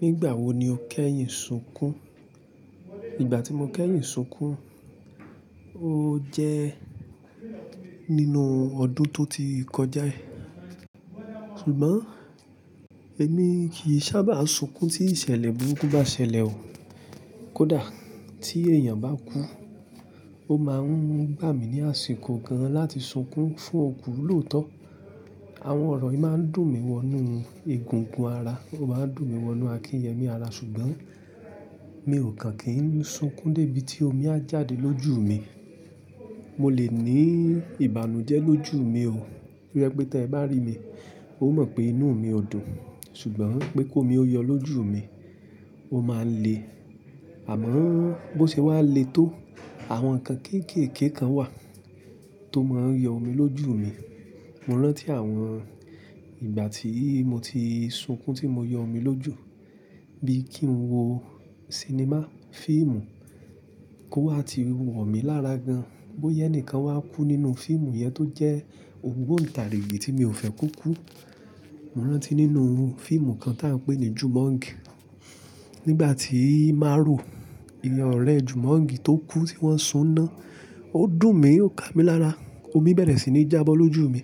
Nígbà wo ni o kẹ́yìn sunkún? Ìgbà tí mo kẹ́yìn sunkún, ó jẹ́ nínú ọdún tó ti kọjá yìí. Ṣùgbọ́n èmi kì í sábà sunkún tí ìṣẹ̀lẹ̀ burúkú bá ṣẹlẹ̀ o. Kódà tí èèyàn bá kú, ó máa ń gbà mí ní àsìkò gan láti sunkún fún òkú lóòótọ́. Àwọn ọ̀rọ̀ yìí máa ń dùn mí wọ inú egungun ara, ó máa ń dùn mí wọ inú akíyẹmí ara, ṣùgbọ́n mi ò kàn kín sunkún dé ibi tí omi a jáde lójú mi. Mo lè ní ìbànújẹ́ lójú mi o. Bo je pé tí ẹ bá rí mi, o mọ̀ pé inú mi ò dùn, ṣùgbọ́n pé kó omi ó yọ lójú mi, o máa le. Àmọ́ bó ṣe wá le tó, àwọn nǹkan kéékèèké kan wà tó máa ń yọ omi lójú mi. Mo rántí àwọn ìgbà tí mo ti sunkún tí mo yọ omi lójú. Bí kí n wo sinimá, fíìmù kó wá ti wọ̀ mí lára gan. Boya ẹni kan wá kú nínú fíìmù yẹn tó jẹ́ ogbonǹtàrígìì tí mi ò fẹ́ kó kú. Mo rántí nínú fíìmù kan tí à ń pè ní Jumong. Nígbà tí Maro, èèyàn ọ̀rẹ́ Jumong tó kú tí wọ́n sun ná, ó dùn mí, ó ka mí lára, omi bẹ̀rẹ̀ sí ní jábọ́ lójú mi.